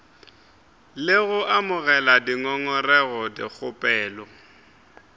le go amogela dingongorego dikgopelo